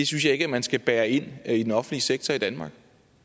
synes jeg ikke man skal bære ind i den offentlige sektor i danmark